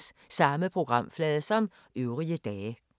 Samme programflade som øvrige dage